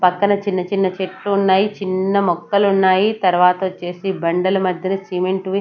పక్కన చిన్న చిన్న చెట్లు ఉన్నాయి చిన్న మొక్కలు ఉన్నాయి తర్వాత వచ్చేసి బండల మధ్యన సిమెంట్ వి --